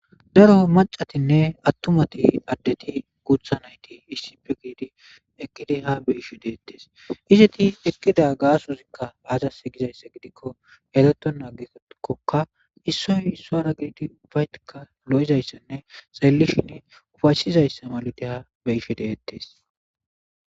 daro macatinne attumati addeti gutha nayti issippe gidid ekidi ha beyishi deettes izeti ekkida gasozikka aazas gizayssa gidikko eretona agikokka issoy issora ubatikka lo'izayssanne xellishin ufaysizayssa malid ha be'ishe detees